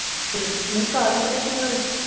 ਫਿਰ ਨਹੀਂ ਕੱਲ੍ਹ ਪਤਾ ਕੀ ਹੋਇਆ